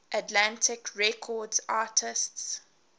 atlantic records artists